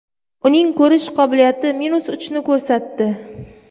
Uning ko‘rish qobiliyati minus uchni ko‘rsatdi.